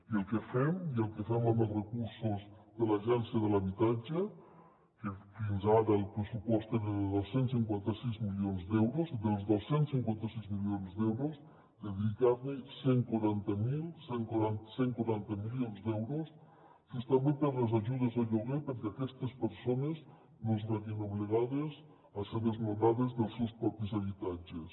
i el que fem i el que fem amb els recursos de l’agència de l’habitatge que fins ara el pressupost era de dos cents i cinquanta sis milions d’euros dels dos cents i cinquanta sis milions d’euros dedicar cent i quaranta milions d’euros justament per a les ajudes al lloguer perquè aquestes persones no es vegin obligades a ser desnonades dels seus propis habitatges